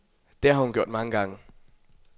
Det har hun gjort mange gange.